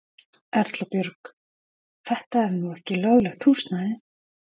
Erla Björg: Þetta er nú ekki löglegt húsnæði?